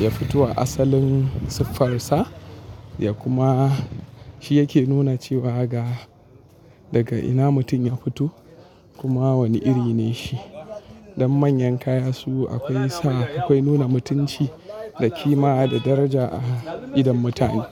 ya fito a asalin siffarsa ya kuma shi yake nuna cewa ga daga ina mutum ya fito kuma wane iri ne shi. Don manyan kaya su akwai sa akwai nuna mutunci da kima da daraja a idon mutane.